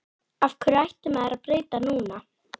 Af hverju ætti maður að breyta til núna?